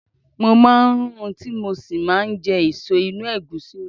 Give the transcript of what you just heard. Mo máa ń rún tí mo sì máa jẹ èso inú Ẹ̀gúsí olómi.